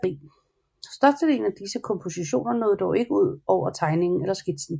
Største delen af disse kompositioner nåede dog ikke ud over tegningen eller skitsen